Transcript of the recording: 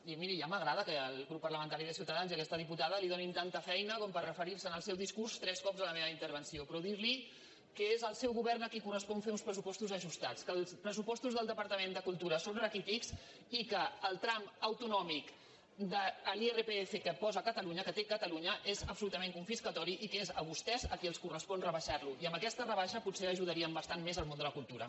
i miri ja m’agrada que el grup parlamentari de ciutadans i aquesta diputada li donin tanta feina com per referir se en el seu discurs tres cops a la meva intervenció però dir li que és el seu govern a qui correspon fer uns pressupostos ajustats que els pressupostos del departament de cultura són raquítics i que el tram autonòmic de l’irpf que posa catalunya que té catalunya és absolutament confiscatori i que és a vostès a qui els correspon rebaixar lo i amb aquesta rebaixa potser ajudarien bastant més el món de la cultura